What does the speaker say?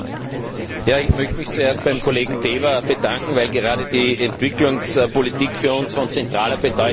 Ich möchte mich zuerst beim Kollegen Deva bedanken, weil gerade die Entwicklungspolitik für uns von zentraler Bedeutung ist.